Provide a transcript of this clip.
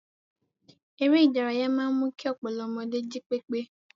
Eré-ìdárayá máa ń mú kí ọpọlọ ọmọdé jí pépé.